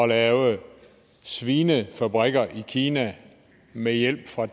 lave svinefabrikker i kina med hjælp fra